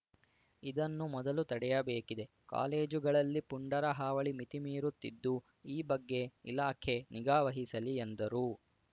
ಇದನ್ನು ಮೊದಲು ತಡೆಯಬೇಕಿದೆ ಕಾಲೇಜುಗಳಲ್ಲಿ ಪುಂಡರ ಹಾವಳಿ ಮಿತಿ ಮೀರುತ್ತಿದ್ದು ಈ ಬಗ್ಗೆ ಇಲಾಖೆ ನಿಗಾ ವಹಿಸಲಿ ಎಂದರು